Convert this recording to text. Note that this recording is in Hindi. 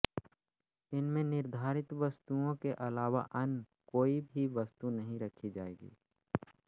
इनमें निर्धारित वस्तुओं के अलावा अन्य कोई भी वस्तु नहीं रखी जायेगी